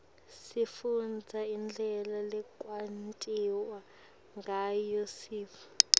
sifundza indlela lekwentiwa ngayo sintfu